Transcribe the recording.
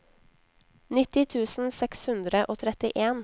nitti tusen seks hundre og trettien